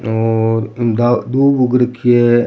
और दूब उग रखी है।